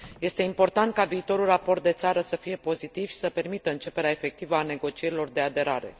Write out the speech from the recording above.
Este important ca viitorul raport de țară să fie pozitiv și să permită începerea efectivă a negocierilor de aderare.